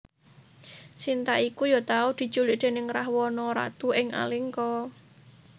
Sinta iku ya tau diculik déning Rahwana Ratu ing Alengka